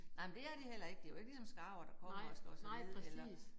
Nej men det er de heller ikke. Det jo ikke ligesom skarver der kommer og slår sig ned eller